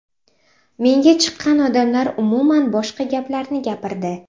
Menga chiqqan odamlar umuman boshqa gaplarni gapirdi.